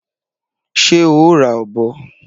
Ṣé o ra ọ̀bọ?